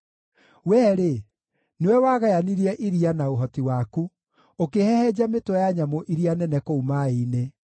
Wee-rĩ, nĩwe wagayanirie iria na ũhoti waku, ũkĩhehenja mĩtwe ya nyamũ iria nene kũu maaĩ-inĩ.